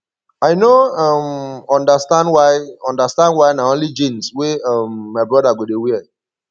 i no um understand why understand why na only jeans wey um my broda go dey wear